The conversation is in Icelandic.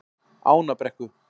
Ánabrekku